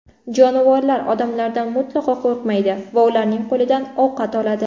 Jonivorlar odamlardan mutlaqo qo‘rqmaydi va ularning qo‘lidan ovqat oladi.